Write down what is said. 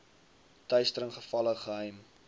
teistering gevalle geheim